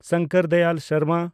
Shankar Dayal Sharma